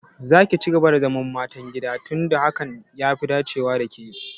Za ki cigaba da zaman matan gida tun da hakan ya fi dacewa da ke!